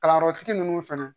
Kalanyɔrɔtigi ninnu fɛnɛ